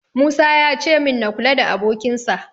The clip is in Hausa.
Musa yace min na kula da abokinsa.